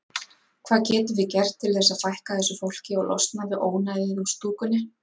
Hvað getum við gert til að fækka þessu fólki og losna við ónæðið úr stúkunni?